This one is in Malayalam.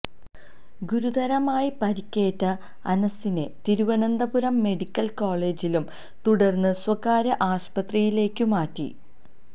ഗുരുതരമായി പരിക്കേറ്റ അനസിനെ തിരുവനന്തപുരം മെഡിക്കല് കോളജിലും തുടര്ന്ന് സ്വകാര്യ ആശുപത്രിയിലേക്കും മാറ്റി